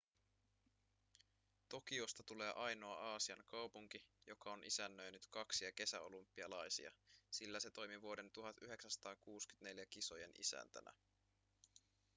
tokiosta tulee ainoa aasian kaupunki joka on isännöinyt kaksia kesäolympialaisia sillä se toimi vuoden 1964 kisojen isäntänä